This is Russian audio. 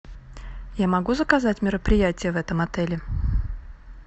я могу заказать мероприятие в этом отеле